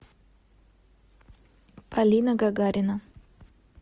полина гагарина